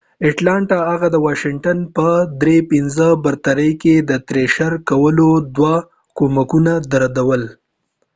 هغه د واشنګټن پر atlanta thrashers د 5-3 برتري کې دوه ګولونه او دوه کومکونه درلودل